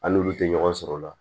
An n'olu tɛ ɲɔgɔn sɔrɔ o la